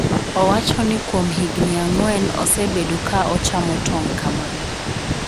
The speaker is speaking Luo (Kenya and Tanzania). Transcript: owacho ni kuom higni ang'wen osebedo ka ochamo tong' kamano